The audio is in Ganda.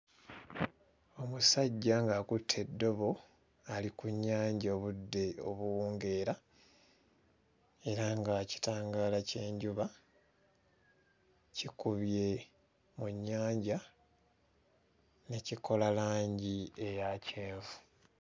Omusajja ng'akutte eddobo ali ku nnyanja obudde obuwungeera era nga kitangaala ky'enjuba kikubye mu nnyanja ne kikola langi eya kyenvu.